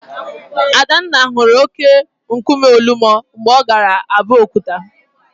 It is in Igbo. Adanna hụrụ óké nkume Ọlụmọ mgbe ọ gara Abokuta.